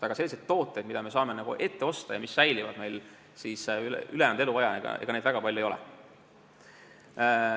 Aga selliseid tooteid, mida me saame ette osta ja mis säilivad meil kogu ülejäänud eluaja, väga palju ei ole.